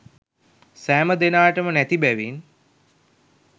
සෑම දෙනාටම නැති බැවින්